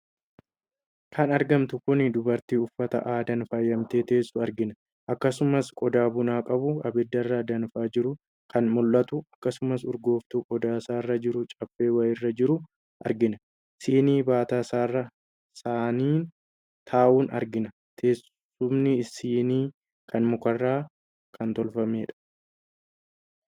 Kan argamtu kun dubartii uffata aadaan faayamtee teessu argina. Akkasumas qodaa buna qabu abiddarra danfaa jiru kan mullatu, akkasumas urgooftu qodaasaarra jiru caffee wayiirra jiru argina. Siinii baataasaarra saniin taahu argina. Teessumni siinii kana mukarraa kan tolfameedha.